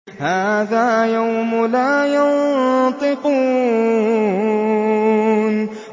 هَٰذَا يَوْمُ لَا يَنطِقُونَ